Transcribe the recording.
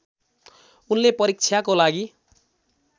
उनले परीक्षाको लागि